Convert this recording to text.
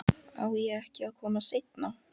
Á ég ekki að koma seinna?